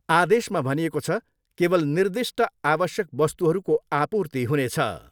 आदेशमा भनिएको छ, केवल निर्दिष्ट आवश्यक वस्तुहरूको आपूर्ति हुनेछ।